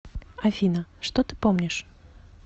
афина что ты помнишь